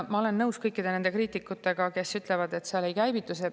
Ma olen nõus kõikide kriitikutega, kes ütlevad, et see ei käivitu.